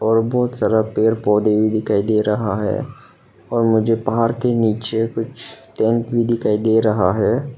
और बहुत सारा पेड़ पौधे भी दिखाई दे रहा है और मुझे पहाड़ के नीचे कुछ टेंट भी दिखाई दे रहा है।